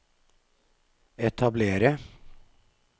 etablere